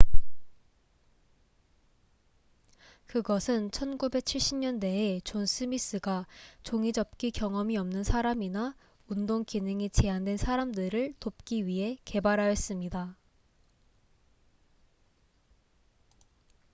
그것은 1970년대에 존 스미스가 종이접기 경험이 없는 사람이나 운동 기능이 제한된 사람들을 돕기 위해 개발하였습니다